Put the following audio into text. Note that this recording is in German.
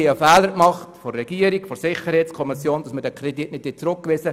Regierung und Sicherheitskommission haben den Fehler gemacht, diesen Kredit nicht zurückzuweisen.